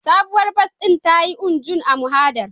Sabuwar bas ɗin ta yi U-Jun a mahadar